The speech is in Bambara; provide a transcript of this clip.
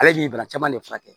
Ale b'i bana caman de furakɛ